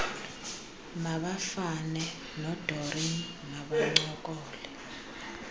mabafane nodoreen mabancokole